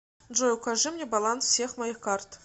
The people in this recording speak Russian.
джой укажи мне баланс всех моих карт